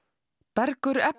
Bergur